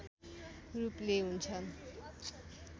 रूपले हुन्छन्